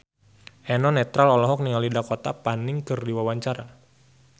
Eno Netral olohok ningali Dakota Fanning keur diwawancara